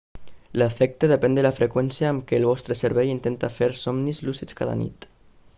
l'efecte depèn de la freqüència amb què el vostre cervell intenta fer somnis lúcids cada nit